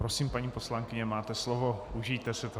Prosím, paní poslankyně, máte slovo, užijte si to.